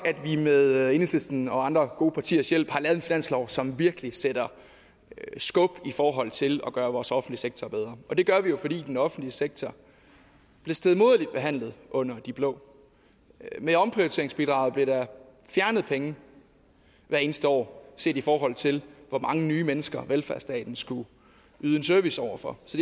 at vi med enhedslisten og andre gode partiers hjælp har lavet en finanslov som virkelig sætter skub i forhold til at gøre vores offentlige sektor bedre og det gør vi jo fordi den offentlige sektor blev stedmoderligt behandlet under de blå med omprioriteringsbidraget blev der fjernet penge hvert eneste år set i forhold til hvor mange nye mennesker velfærdsstaten skulle yde en service over for så